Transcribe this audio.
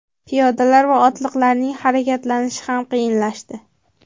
Piyodalar va otliqlarning harakatlanishi ham qiyinlashdi.